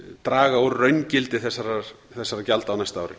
draga úr raungildi þessara gjalda á næsta ári